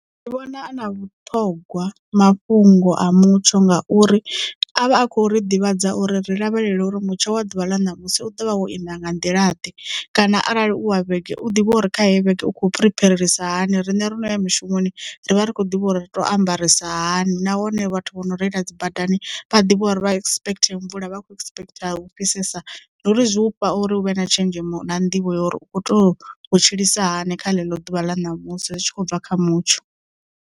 Ndi vhona a na vhuṱhogwa mafhungo a mutsho nga uri avha a kho ri ḓivhadza uri ri lavhelele uri mutsho wa ḓuvha ḽa ṋamusi u ḓovha wo ima nga nḓila ḓe kana arali u wa vhege u ḓivha uri kha heyi vhege u kho preparelisa hani. Riṋe ro no ya mushumoni ri vha ri khou ḓivha uri ri to ambarisa hani nahone vhathu vho no reila dzi badani vha ḓivhe uri vha expect mvula vha kho expect u fhisesa ndi uri zwi ufha uri hu vhe na tshenzhemo na nḓivho ya uri u kho to tshilisa hani kha ḽo ḓuvha ḽa ṋamusi zwi tshi khou bva kha mutsho.